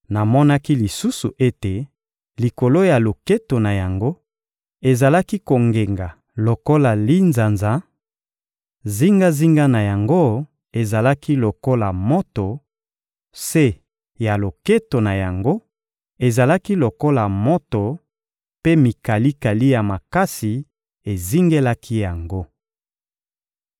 Namonaki lisusu ete likolo ya loketo na yango ezalaki kongenga lokola linzanza, zingazinga na yango ezalaki lokola moto, se ya loketo na yango ezalaki lokola moto; mpe mikalikali ya makasi ezingelaki yango.